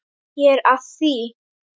Ég er að því.